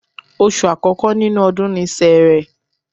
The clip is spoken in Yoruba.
Oṣù àkọ́kọ́ nínú ọdún ni Sẹẹrẹ